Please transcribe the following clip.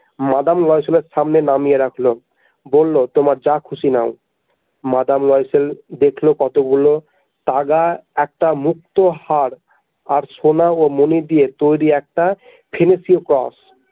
Madame লয়সেলের সামনে নামিয়ে রাখল বলল তোমার যা খুশি নাও মাদাম লয়সেল দেখল কতগুলো তাগা একটা মুক্তোর হার আর সোনা ও মনি দিয়ে তৈরি একটা ।